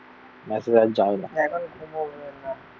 এখন ঘুমাবো না.